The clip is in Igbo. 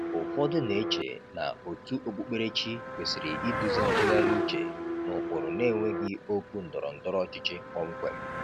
Ụfọdụ na-eche na òtù okpukperechi kwesịrị iduzi ntụgharị uche n’ụkpụrụ na-enweghị okwu ndọrọ ndọrọ ọchịchị kpọmkwem.